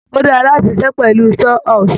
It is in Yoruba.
Ó dára láti ṣiṣẹ́ pẹ̀lú Saw horse